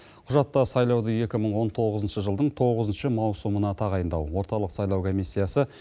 құжатта сайлауды екі мың он тоғызыншы жылдың тоғызыншы маусымына тағайындау орталық сайлау комиссиясы